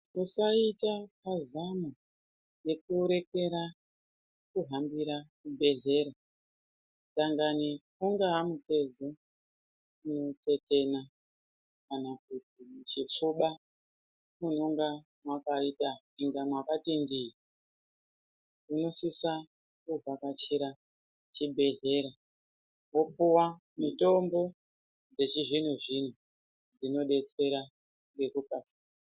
Usaita mazano ekurekera kuhambira kuzvibhedhlera dangani dangani ungaa mutezo unotetena kana kuti muchichoba munonga mwakaita inga mwakati ndii unosisa kuvhakachira chibhehlera wopuwa mitombo dzechizvino-zvino dzinodetsera ngekupa.